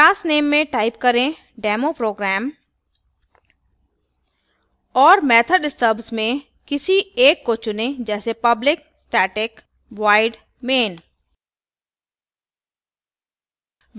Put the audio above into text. class name में type करें demoprogram और method stubs में किसी एक को चुनें जैसे public static void main